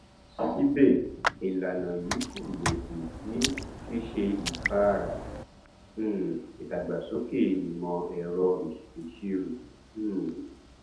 síbè ìlànà yìí kò lòdì sí ṣíṣe ìfáàrà um ìdàgbàsókè ìmòẹrọ ìṣèṣirò um